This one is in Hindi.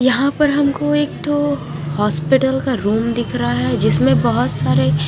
यहाँ पर हमको एक तो हॉस्पिटल का रूम दिख रहा है जिसमे बहुत सारे--